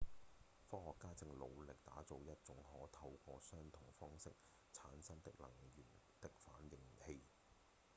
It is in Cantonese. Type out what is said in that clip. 科學家正努力打造一種可透過相同方式產生能源的反應器